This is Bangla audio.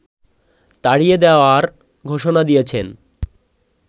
তাড়িয়ে দেয়ার ঘোষণা দিয়েছেন